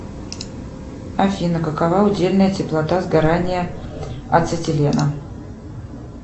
афина какова удельная теплота сгорания ацетилена